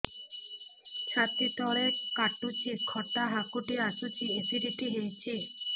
ଛାତି ତଳେ କାଟୁଚି ଖଟା ହାକୁଟି ଆସୁଚି ଏସିଡିଟି ହେଇଚି